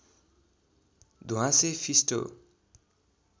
ध्वाँसे फिस्टो